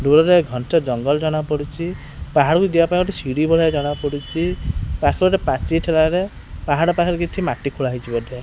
ଦୂର ରେ ଘଞ୍ଚ ଜଙ୍ଗଲ ଜଣା ପଡୁଚି ପାହାଡ଼ କୁ ଯିବା ପାଇଁ ଗୋଟେ ସିଡି ଭଳିଆ ଜଣା ପଡୁଚି ପାଖରେ ଗୋଟି ପାଚିରି ଥିଲା ରେ ପାହାଡ ପାଖରେ କିଛି ମାଟି ଖୋଳା ହେଇଚି ବୋଧେ।